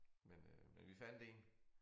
Men øh men vi fandt én